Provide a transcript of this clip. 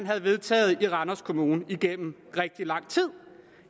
havde vedtaget i randers kommune igennem rigtig lang tid